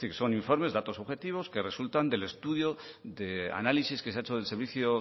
es decir que son informes de datos objetivos que resultan del estudio de análisis que se ha hecho del servicio